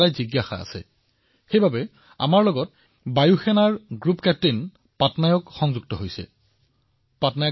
সেয়েহে আমাৰ বায়ু সেনা গোটৰ কেপ্টেইন পাটনায়কজীয়ে আমাৰ সৈতে যোগদান কৰিছে